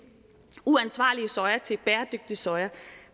uansvarlige soja til bæredygtig soja